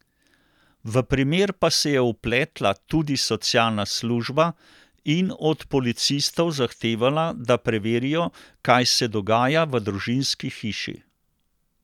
V primer pa se je vpletla tudi socialna služba in od policistov zahtevala, da preverijo, kaj se dogaja v družinski hiši.